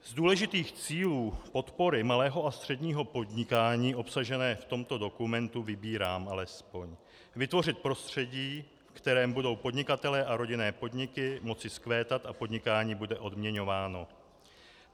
Z důležitých cílů podpory malého a středního podnikání obsažené v tomto dokumentu vybírám alespoň: Vytvořit prostředí, v kterém budou podnikatelé a rodinné podniky moci vzkvétat a podnikání bude odměňováno.